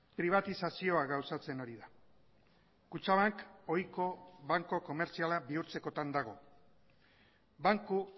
pribatizazioa gauzatzen ari da kutxabank ohiko banku komertziala bihurtzekotan dago banku